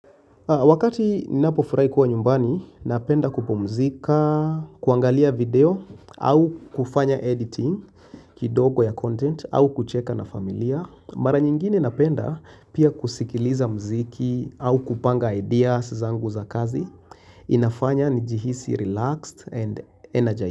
Wakati ninapofurahi kuwa nyumbani, napenda kupumzika, kuangalia video au kufanya editing kidogo ya content au kucheka na familia. Mara nyingine napenda pia kusikiliza mziki au kupanga ideas zangu za kazi. Inafanya nijihisi relaxed and energized.